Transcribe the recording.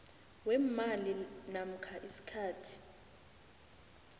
weemali namkha isikhathi